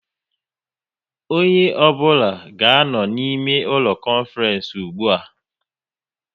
Onye ọ bụla ga anọ n' ime ụlọ konference ụgbụa!